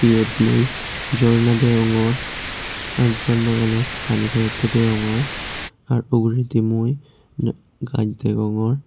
yot mui jorna degongor r jorna ganot pani poretey deyongor ar ugurendi mui jo gach degongor.